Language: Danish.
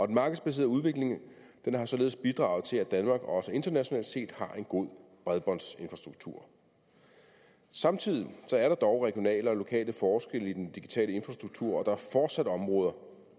den markedsbaserede udvikling har således bidraget til at danmark også internationalt set har en god bredbåndsinfrastruktur samtidig er der dog regionale og lokale forskelle i den digitale infrastruktur og der er fortsat områder